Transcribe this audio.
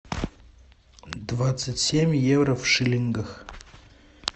двадцать семь евро в шиллингах